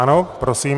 Ano, prosím.